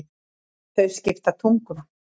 Þau skipta tugum.